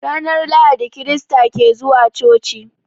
Ranar Lahadi krista ke zuwa coci.